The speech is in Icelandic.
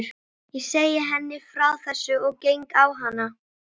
Ég segi henni frá þessu og geng á hana.